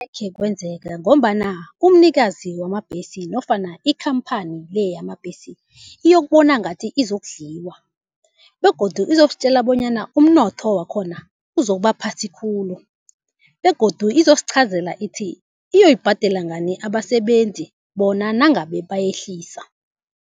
Angeke kwenzeka ngombana umnikazi wamabhesi nofana ikhamphani le yamabhesi iyokubona ngathi izokudliwa begodu izositjela bonyana umnotho wakhona uzokuba phasi khulu. Begodu izosiqhazela ithi iyoyibhadela ngani abasebenzi bona nangabe bayehlisa.